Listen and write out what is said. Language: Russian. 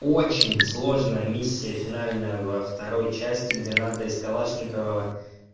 очень сложная миссия финальная во второй части где надо из калашникова